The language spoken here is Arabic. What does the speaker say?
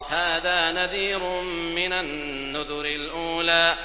هَٰذَا نَذِيرٌ مِّنَ النُّذُرِ الْأُولَىٰ